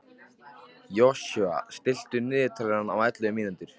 Joshua, stilltu niðurteljara á ellefu mínútur.